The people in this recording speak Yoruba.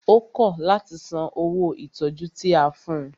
Ó kọ̀ láti san owó ìtọjú tí a fún ùn.